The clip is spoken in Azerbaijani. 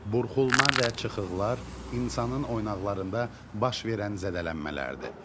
Burxulma və çıxıqlar insanın oynağlarında baş verən zədələnmələrdir.